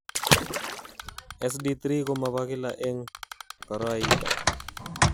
SD3 ko mo bo kila eng koroi ito.